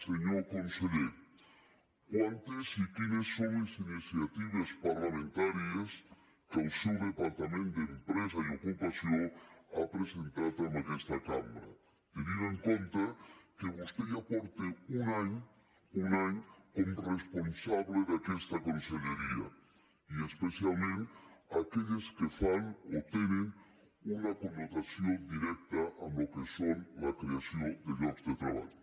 senyor conseller quantes i quines són les iniciatives parlamentàries que el seu departament d’empresa i ocupació ha presentat en aquesta cambra tenint en compte que vostè ja fa un any un any que és responsable d’aquesta conselleria i especialment aquelles que tenen una connotació directa en el que és la creació de llocs de treball